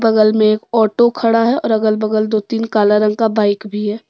बगल में एक ऑटो खड़ा है और अगल बगल दो तीन काला रंग का बाइक भी है।